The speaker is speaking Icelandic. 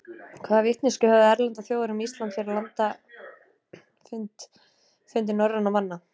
hvaða vitneskju höfðu erlendar þjóðir um ísland fyrir landafundi norrænna manna